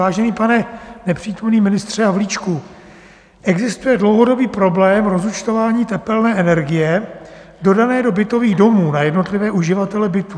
Vážený pane nepřítomný ministře Havlíčku, existuje dlouhodobý problém rozúčtování tepelné energie dodané do bytových domů na jednotlivé uživatele bytu.